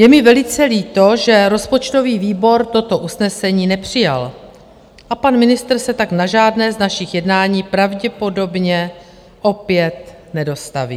Je mi velice líto, že rozpočtový výbor toto usnesení nepřijal, a pan ministr se tak na žádné z našich jednání pravděpodobně opět nedostaví.